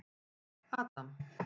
Adam